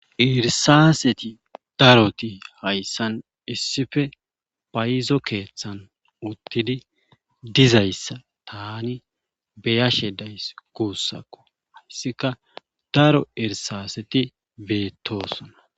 Irsaaseti daroti hayssan issife phayizo keeththan uttidi dizayssa tani beyashe days kuussakko hayssika daro irsaaseti beettoosona